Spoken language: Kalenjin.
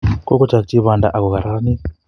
Kokochokchi banda ako kararanit